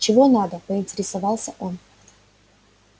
чего надо поинтересовался он